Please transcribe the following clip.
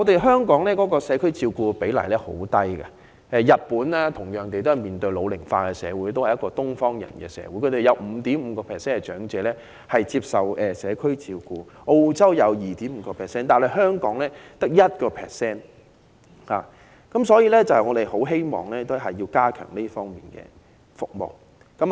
香港的社區照顧比例極低，相比同樣面對社會老齡化的日本，該國也是東方人社會，但他們有 5.5% 長者接受社區照顧，澳洲亦有 2.5%， 但香港只有 1%， 所以我們很希望當局加強社區照顧服務。